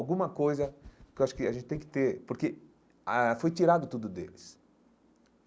Alguma coisa que eu acho que a gente tem que ter, porque ah foi tirado tudo deles.